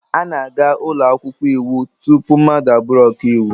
A na-aga ụlọ akwụkwọ iwu tupu mmadụ abụrụ ọka iwu.